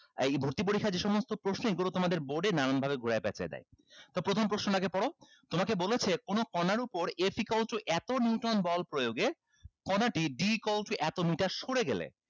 আহ এই ভর্তি পরীক্ষার যে সমস্ত প্রশ্ন এইগুলো তোমাদের board এ নানান ভাবে ঘুরায় পেচায় দেয় তো প্রথম প্রশ্নটা আগে পড়ো তোমাকে বলেছে কোনো কনার উপর a equal to এতো neuton বল প্রয়োগে কণাটি d equal to এতো meter সরে গেলে